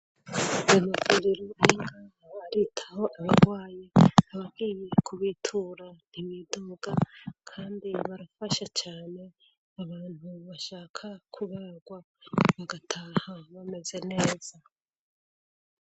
banakuriro r'inka baritaho ababwaye ababwiye kubitura ntibidoga kandi barafasha cyane abantu bashaka kubagwa bagataha bameze neza